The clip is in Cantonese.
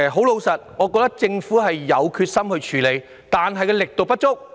老實說，我認為政府有決心處理問題，但卻力度不足。